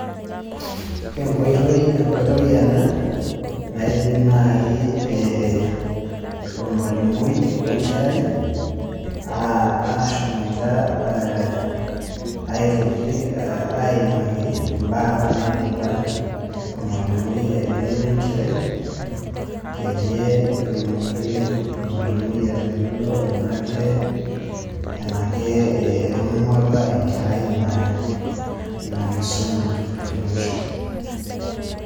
Enkoitoi ena naidim nai ormalimui wenkerai ashomoita aitoki aimaki imbaa naidipa ormalimui aiteng'ena enkerai, peyie etumoki ormalimui atayiolo enake etoning'uo apa enkerai ina kisuma e musho.